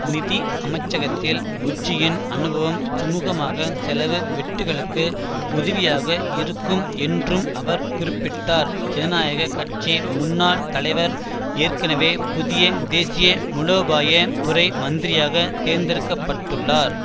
நிதி அமைச்சகத்தில் புஜ்ஜியின் அனுபவம் சுமூகமான செலவு வெட்டுக்களுக்கு உதவியாக இருக்கும் என்றும் அவர் குறிப்பிட்டார் ஜனநாயக கட்சி முன்னாள் தலைவர் ஏற்கனவே புதிய தேசிய முலோபாய துறை மந்திரியாக தேர்ந்தெடுக்க பட்டுள்ளார்